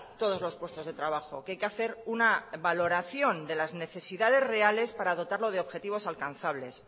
todos los puestos de trabajo que hay que hacer una valoración de las necesidades reales para dotarlo de objetivos alcanzables